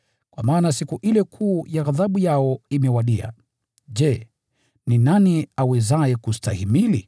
Kwa maana siku ile kuu ya ghadhabu yao imewadia. Je, ni nani awezaye kustahimili?”